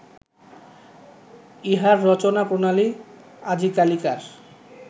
ইহার রচনাপ্রণালী আজিকালিকার